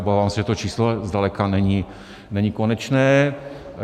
Obávám se, že to číslo zdaleka není, není konečné.